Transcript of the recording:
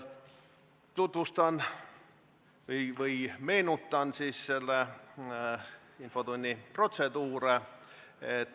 Tutvustan või meenutan selle infotunni protseduure.